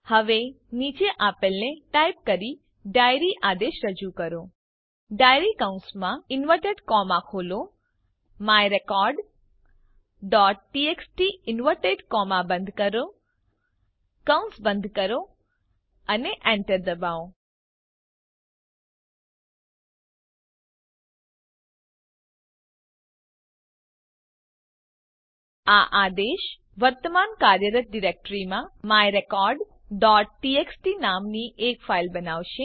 હવે નીચે આપેલને ટાઈપ કરી ડાયરી આદેશ રજુ કરો ડાયરી કૌસમાં ઇન્વર્ટેડ કોમા ખોલો myrecordટીએક્સટી ઇન્વર્ટેડ કોમા બંધ કરો કૌસ બંધ કરો અને enter દબાવો આ આદેશ વર્તમાન કાર્યરત ડિરેક્ટરીમાં myrecordટીએક્સટી નામની એક ફાઈલ બનાવશે